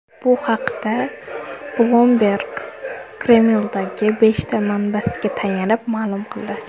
Bu haqda Bloomberg Kremldagi beshta manbasiga tayanib, ma’lum qildi .